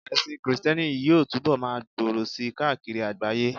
ẹsìn Kristẹni yíò tubọ ma gbòrò sí káàkiri àgbáyé